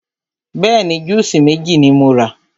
Bẹ́ẹ̀ni, júùsí méjì ni mo rà.